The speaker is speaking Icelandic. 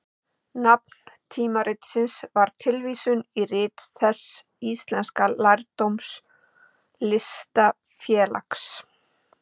Nafn tímaritsins var tilvísun í Rit þess íslenska lærdómslistafélags.